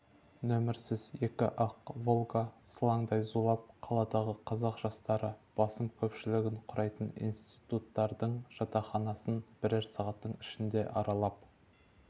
нөмірсіз екі ақ волга сылаңдай зулап қаладағы қазақ жастары басым көпшілігін құрайтын институттардың жатақханасын бірер сағаттың ішінде аралап